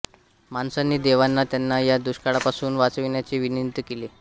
माणसांनी देवाना त्यांना या दुष्काळापासून वाचविण्याची विनंती केली